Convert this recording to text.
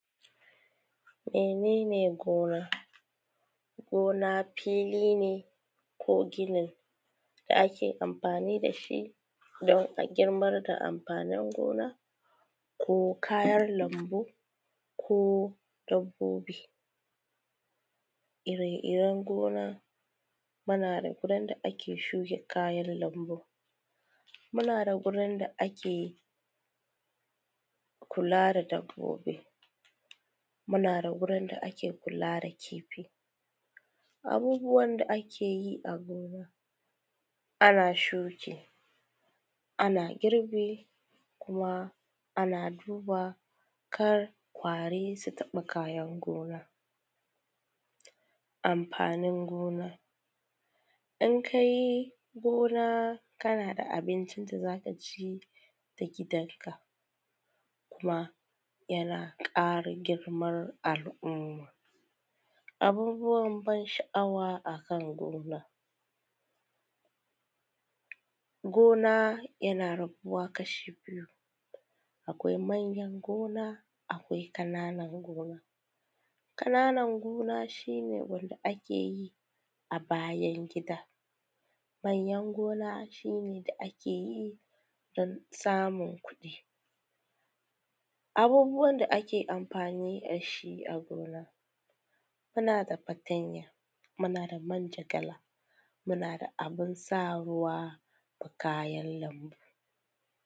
Mene ne gona? Gona fili ne ko gini, dan a girban da amfanin gona, ko kayan lambu ko dabbobi. Iri-iren gona muma da wurin da ake shuka kayan lambu, muna da wurin da ake kula da dabbobi, muna da wurin da ake kula da kifi. Abubuwan da ake yi a gona ana shuki, ana girbi, kuma ana duba kar ƙwari su taɓa kayan gona. Amfanin gona, in ka yi gona kana da abincin da z aka ci da gidanka, kuma yana ƙara girman al’umma. Abubwan ban sha’awa a kan homa. Gona yana rabuwa kasha biyu, akwai manyan gona akwai ƙananan gona, ƙananan gona shi ne wanda ake yi a bayan gida. Manyan gona shi ne da ake yi dan samun kuɗi. abubuwan da ake amfani da shi agona, muna da fatanya, muna da mujagala, muna da abin sa ruwa a kayan lambu.